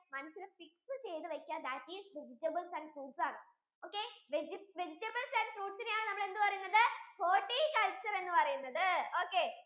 മനസ്സിൽ fix ചെയ്തു വെക്ക that is vegatables and fruits ആണ് okay? vegetables and fruits യിനെ ആണ് നമ്മൾ എന്ത് പറയുന്നത് horticulture എന്ന് പറയുന്നത് okay